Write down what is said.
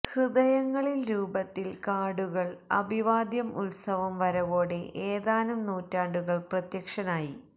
ഹൃദയങ്ങളിൽ രൂപത്തിൽ കാർഡുകൾ അഭിവാദ്യം ഉത്സവം വരവോടെ ഏതാനും നൂറ്റാണ്ടുകൾ പ്രത്യക്ഷനായി